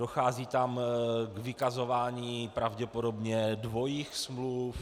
Dochází tam k vykazování pravděpodobně dvojích smluv.